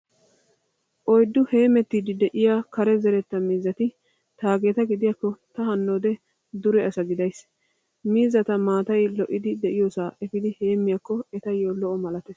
Oyddu heemettiiddi de'iyaa kare zeretta miizzati taageeta gidiyaakko ta hannoode dure asa gidayiis. Miizzata maatay lo'idi de'iyoosaa efiidi heemmiyaakko etayyo lo''o malattees.